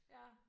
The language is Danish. Ja